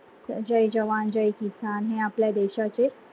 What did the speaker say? जय जवान जाय किसान, ही आपल्या देशाचे